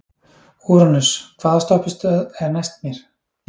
Úranus, hvaða stoppistöð er næst mér?